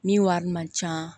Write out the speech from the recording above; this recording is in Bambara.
Min wari man ca